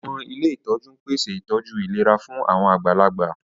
Àwọn ilé ìtọ́jú ń pèsè ìtọ́jú ìlera fún àwọn àgbàlagbà